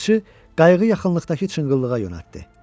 Balıqçı qayığı yaxınlıqdakı çınqıllığa yönəltdi.